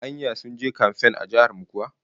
Anya sun je kamfan a jihar mu kuwa?